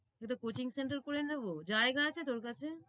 একটা coaching center করে নেবো জায়গা আছে তোর কাছে?